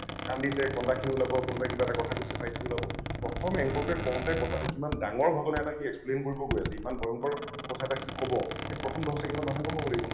কন্দিছে কন্দা খিনি ওলাব । কোনোবাই কিবা এটা কথা কৈছে bite টো ওলাব । প্ৰথম anchor টোই কওঁতে কথা কিমান ডাঙৰ ঘটনা এটা সি explain কৰিব গৈ আছে । ইমান ভয়ংকৰ কথা এটা সি কব সেইটো প্ৰথম দহ ছেকেণ্ডত মানুহে গম পাব লাগিব ।